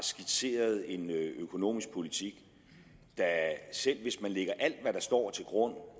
skitseret en økonomisk politik der selv hvis man lægger alt hvad der står til grund